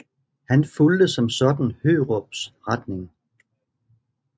Han fulgte som sådan Hørups retning